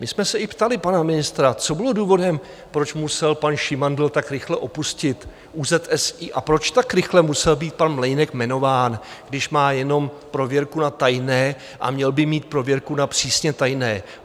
My jsme se i ptali pana ministra, co bylo důvodem, proč musel pan Šimandl tak rychle opustit ÚZSI a proč tak rychle musel být pan Mlejnek jmenován, když má jenom prověrku na tajné a měl by mít prověrku na přísně tajné.